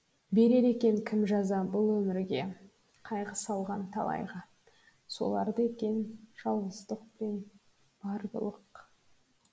берер екен кім жаза бұл өмірге қайғы салған талайға соларда екен жауыздық пен бар былық